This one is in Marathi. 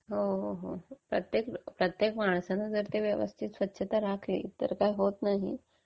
हो, हो. प्रत्येक माणसाने जर व्यवस्थित स्वच्छता राखली तर काही होत नाही म्हणा.